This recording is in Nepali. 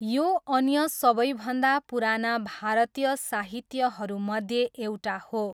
यो अन्य सबैभन्दा पुराना भारतीय साहित्यहरूमध्ये एउटा हो।